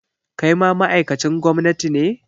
Kai ma ma'aikacin gwamnati ne?